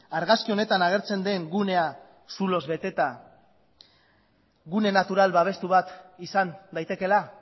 argazki honetan agertzen den gunea zuloz beteta gune natural babestu bat izan daitekeela